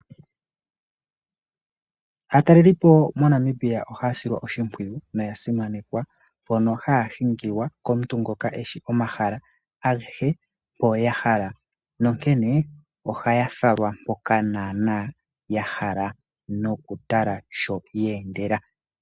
Aatalelipo moNamibia ohaya silwa oshimpwiyu noya simanekwa mpono haya hingilwa komuntu ngoka eshi omahala agehe mpo yahala. Nonkene ohaya falwa mpoka naanaa yahala nokutala sho yeendela.